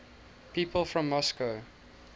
people from moscow